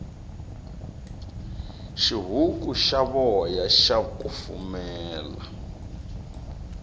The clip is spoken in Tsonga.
xihuku xa voya xa kufumela